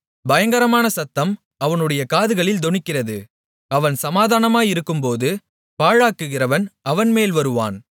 பயங்கரமான சத்தம் அவனுடைய காதுகளில் தொனிக்கிறது அவன் சமாதானமாயிருக்கும்போது பாழாக்குகிறவன் அவன்மேல் வருவான்